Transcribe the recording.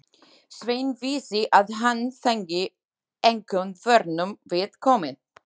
Sveinn vissi að hann fengi engum vörnum við komið.